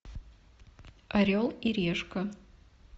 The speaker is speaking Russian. орел и решка